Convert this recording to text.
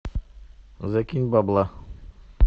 закинь бабла